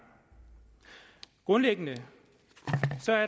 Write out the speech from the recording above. grundlæggende